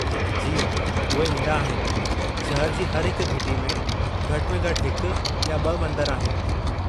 जी, उहे ईंदा आहिनि। शहरु जी हर घिटी में घटि में घटि हिकु या ॿ मंदर आहिनि।